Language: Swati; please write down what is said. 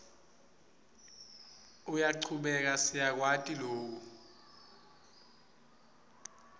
uyachubeka siyakwati loku